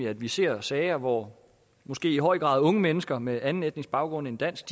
at vi ser sager hvor måske i høj grad unge mennesker med anden etnisk baggrund end dansk